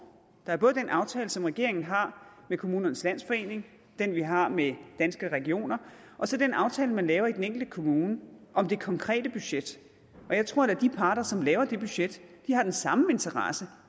der er både den aftale som regeringen har med kommunernes landsforening den vi har med danske regioner og så den aftale man laver i den enkelte kommune om det konkrete budget og jeg tror da at de parter som laver det budget har den samme interesse